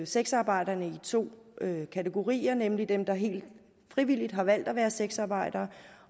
sexarbejderne i to kategorier nemlig dem der helt frivilligt har valgt at være sexarbejdere